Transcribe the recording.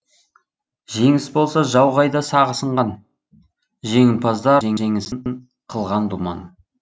жеңіс болса жау қайда сағы сынған жеңімпаздар жеңісін қылған думан